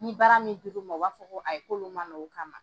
Ni baara min diluw ma u b'a fɔ ko ayi k'olu ma na o kama.